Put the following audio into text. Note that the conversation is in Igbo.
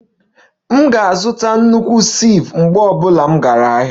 M ga-azụta nnukwu sieve mgbe ọ bụla m gara ahịa